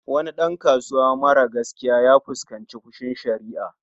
Wani ɗan kasuwa mara gaskiya ya fuskanci fushin sharia